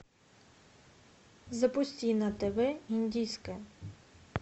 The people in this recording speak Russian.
запусти на тв индийское